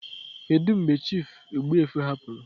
Kedu mgbe Chief Ogbuefi hapụrụ?